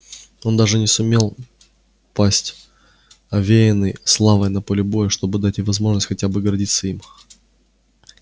он даже не сумел пасть овеянный славой на поле боя чтобы дать ей возможность хотя бы гордиться им